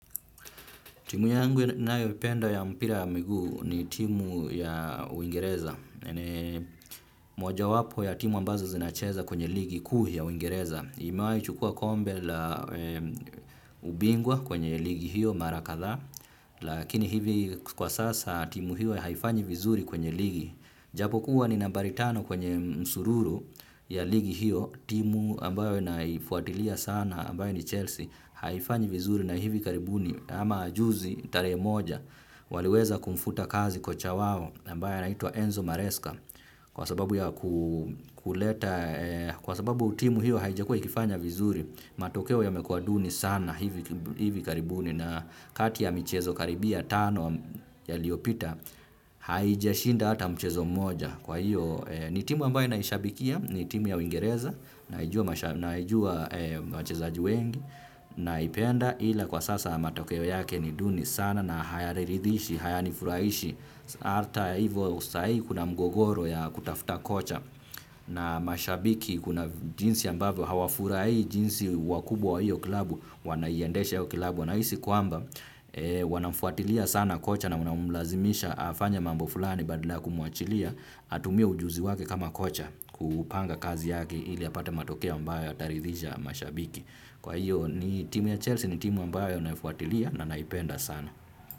Timu yangu nayoipenda ya mpira ya miguu ni timu ya uingereza. Ni mojawapo ya timu ambazo zinacheza kwenye ligi kuu ya uingereza. Imewahi chukua kombe la ubingwa kwenye ligi hiyo mara kadhaa. Lakini hivi kwa sasa timu hiyo haifanyi vizuri kwenye ligi. Japokuwa ni nambari tano kwenye msururu ya ligi hiyo. Timu ambayo naifuatilia sana ambayo ni Chelsea haifanyi vizuri na hivi karibuni. Kama juzi tarehe moja waliweza kumfuta kazi kocha wao ambae anaitwa Enzo Mareska kwa sababu ya kuleta kwa sababu timu hiyo haijakua ikifanya vizuri matokeo yamekua duni sana hivi hivi karibuni na kati ya michezo karibia tano yaliopita haijashinda hata mchezo moja kwa hiyo ni timu ambayo naishabikia ni timu ya uingereza naijua wachezaji wengi naipenda ila kwa sasa matokeo yake ni duni sana na hayaniridhishi, hayanifurahishi. Arta hivyo usai kuna mgogoro ya kutafuta kocha. Na mashabiki kuna jinsi ambavyo hawafurahii jinsi wakubwa wa hiyo klabu. Wanaiendesha yako klabu wanahisi kwamba wanamfuatilia sana kocha na wanamlazimisha afanye mambo fulani badala kumuachilia. Atumie ujuzi wake kama kocha kupanga kazi yake ili apate matokeo ambayo yataridhisha mashabiki. Kwa hiyo ni timu ya Chelsea ni timu ambayo naifuatilia na naipenda sana.